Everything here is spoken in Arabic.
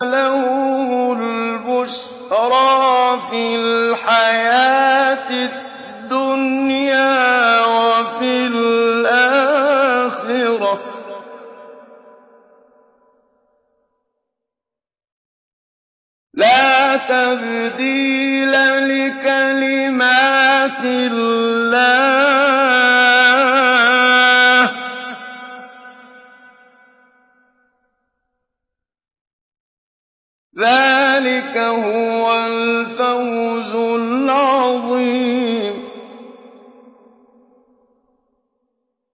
لَهُمُ الْبُشْرَىٰ فِي الْحَيَاةِ الدُّنْيَا وَفِي الْآخِرَةِ ۚ لَا تَبْدِيلَ لِكَلِمَاتِ اللَّهِ ۚ ذَٰلِكَ هُوَ الْفَوْزُ الْعَظِيمُ